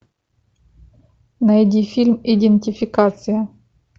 найди фильм идентификация